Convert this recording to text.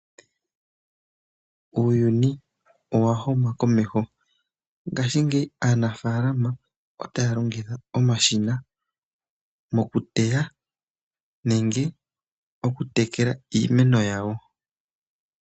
Uuyuni owa huma komeho. Ngaashingeyi aanafaalama otaya longitha omashina moku teya nenge oku tekela iimeno yawo.